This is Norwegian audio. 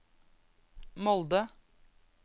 Molde